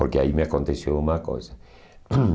Porque aí me aconteceu uma coisa.